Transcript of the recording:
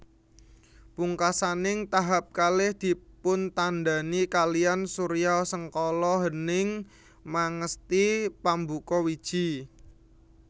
Pungkasaning tahap kalih dipuntandhani kaliyan suryasengkala Hening Mangesti Pambuka Wiji